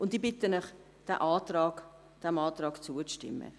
Ich bitte Sie, diesem Antrag zuzustimmen.